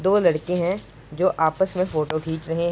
दो लकड़े हैं जो आपस में फोटो खींच रहे --